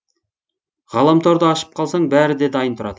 ғаламторды ашып қалсаң бәрі де дайын тұрады